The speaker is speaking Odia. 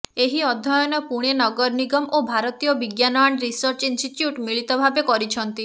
ଏହି ଅଧ୍ୟୟନ ପୁଣେ ନଗର ନିଗମ ଓ ଭାରତୀୟ ବିଜ୍ଞାନ ଆଣ୍ଡ ରିସର୍ଚ୍ଚ ଇନଷ୍ଟିଚ୍ୟୁୟଟ୍ ମିଳିତ ଭାବେ କରିଛନ୍ତି